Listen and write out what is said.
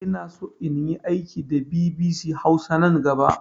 Inaso inyi aiki da bibisi hausa nan gaba